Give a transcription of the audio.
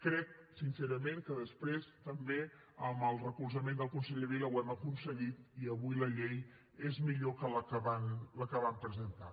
crec sincerament que després també amb el recolzament del conseller vila ho hem aconseguit i avui la llei és millor que la que van presentar